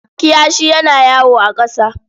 Kiyashi yana yawo a ƙasa.